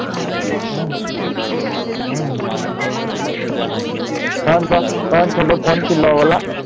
বিয়ে হইছে। বিয়েগুলো সত্যি করেই